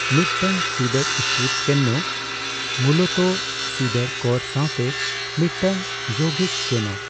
ᱢᱤᱫᱴᱟᱝ cedar strip canoe ᱢᱩᱞᱚᱛᱚ cedar core ᱥᱟᱣᱛᱮ ᱢᱤᱫᱴᱟᱝ ᱡᱳᱣᱜᱤᱠ ᱠᱮᱱᱳ ᱾